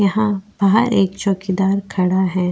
यहाँ बाहर एक चौकीदार खड़ा है।